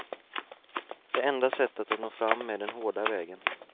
Det enda sättet att nå fram är den hårda vägen.